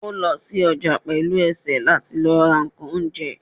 o lo sí ojà pelú esé latí lọ ra nkán oúnjẹ